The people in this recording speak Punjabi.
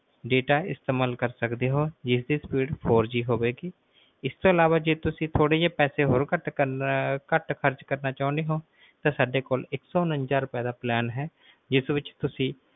ਇਸਤੇਮਾਲ ਕਰ ਸਕਦੇ ਹੋ ਜਿਸ ਦੀ ਹੋਵੇਗੀ ਜੇ ਇਸ ਤੋਂ ਅਲਾਵਾ ਜੇ ਤੁਸੀਂ ਥੋੜੇ ਜੇ ਪੈਸੇ ਹੋਰ ਘਾਟ ਖਰਚ ਕਰਨਾ ਚਹੁਣੇ ਹੋ ਤਾਂ ਸਾਡੇ ਕੋਲ ਇੱਕ ਸੌ ਉਂਣਜਾ ਰੁਪਏ ਦਾ ਹੈ